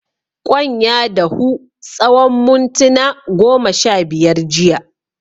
Kwan ya dahu tsawan muntuna goma sha biyar jiya.